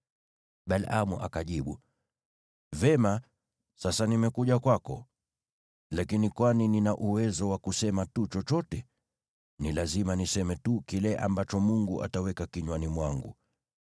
Balaamu akajibu, “Vema, sasa nimekuja kwako. Lakini kwani nina uwezo wa kusema tu chochote? Ni lazima niseme tu kile ambacho Mungu ataweka kinywani mwangu.”